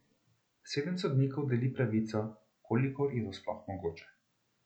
Sedem sodnikov deli pravico, kolikor je to sploh mogoče.